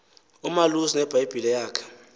umalusi nebhayibhile yakhe